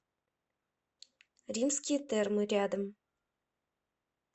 римские термы рядом